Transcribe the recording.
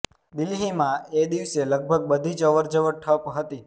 દિલ્હીમાં એ દિવસે લગભગ બધી જ અવરજવર ઠપ હતી